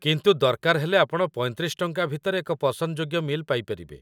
କିନ୍ତୁ ଦରକାର ହେଲେ ଆପଣ ୩୫ ଟଙ୍କା ଭିତରେ ଏକ ପସନ୍ଦଯୋଗ୍ୟ ମିଲ୍‌ ପାଇପାରିବେ |